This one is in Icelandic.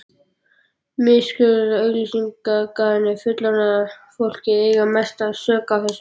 Miskunnarlaus auglýsingaiðnaður og fullorðna fólkið eiga mesta sök á þessu.